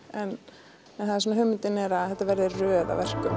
en hugmyndin er að þetta verði röð af verkum